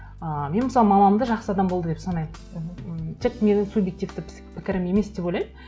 ы мен мысалы мамамды жақсы адам болды деп санаймын мхм м тек менің субъективті пікірім емес деп ойлаймын